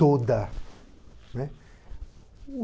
Toda, né.